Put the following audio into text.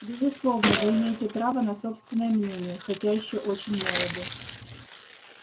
безусловно вы имеете право на собственное мнение хотя ещё очень молоды